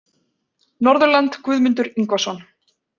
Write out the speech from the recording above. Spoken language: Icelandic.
Norðurland Guðmundur Ingvason